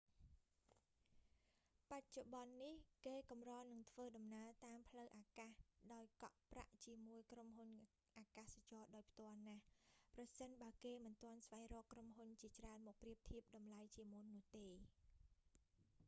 បច្ចុប្បន្ននេះ គេកម្រនឹងធ្វើដំណើរតាមផ្លូវអាកាស ដោយកក់ប្រាក់ជាមួយក្រុមហ៊ុនអាកាសចរណ៍ដោយផ្ទាល់ណាស់ ប្រសិនបើគេមិនទាន់ស្វែងរកក្រុមហ៊ុនជាច្រើនមកប្រៀបធៀបតម្លៃជាមុននោះទេ